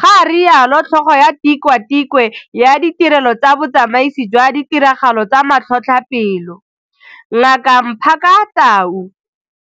ga rialo tlhogo ya Tikwatikwe ya Ditirelo tsa Botsamaisi jwa Ditiragalo tsa Matlhotlhape lo, Ngaka Mmaphaka Tau.